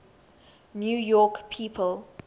new york people